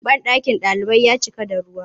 Banɗakin ɗalibai ya cika da ruwa.